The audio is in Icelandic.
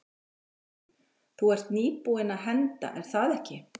Sölvi: Þú ert nýbúin að henda er það ekki?